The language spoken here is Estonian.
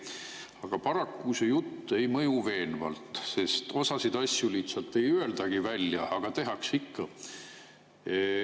Aga paraku see jutt ei mõju veenvalt, sest osasid asju lihtsalt ei öeldagi välja, aga tehakse ikka.